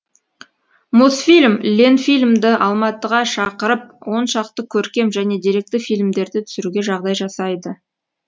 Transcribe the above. мосфильм ленфильмді алматыға шақырып он шақты көркем және деректі фильмдерді түсіруге жағдай жасайды